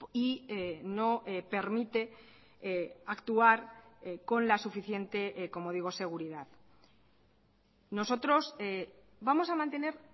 y no permite actuar con la suficiente como digo seguridad nosotros vamos a mantener